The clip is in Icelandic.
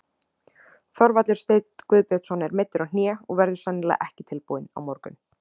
Þorvaldur Sveinn Guðbjörnsson er meiddur á hné og verður sennilega ekki tilbúinn á morgun.